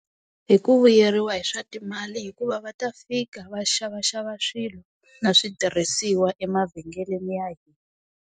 Hi ku vuyeriwa hi swa timali hikuva va ta fika va xavaxava swilo, na switirhisiwa emavhengeleni ya .